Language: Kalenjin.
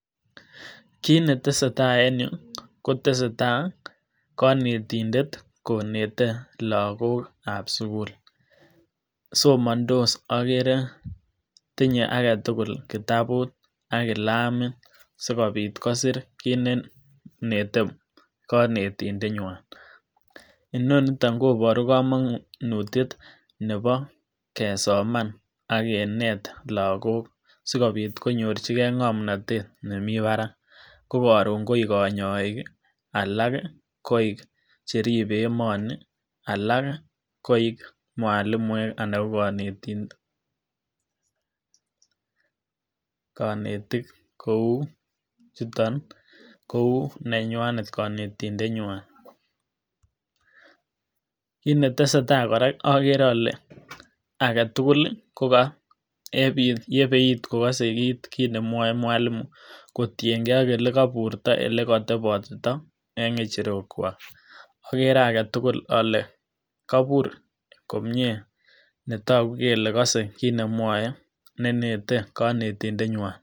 Kiit netesetaa en yuu koteseta konetindet konete lokokab sukul, somondos okere tinye aketukul kitabut ak kilamit sikobit kosir kiit nenete konetindenywan, inoniton koboru komonutiet nebo kesoman ak kineet lokok sikobit konyorchikee ng'omnotet nemii barak ko koron koik konyoik alak koik cheribe emoni alak koik mwalimuek anan koik konetik kouu chuton niton kouu nenywanet konetindenywan, kiit netesetaa kora okere olee aketukul kokaa yebeit kokose kiit nemwoe mwalimu kotieng'e ak elekoburto, elekotebotito en ng'echerokwak, okere aketukul olee kobur komnyee netoku kelee kose kiit nemwoe nenete konetindenywan.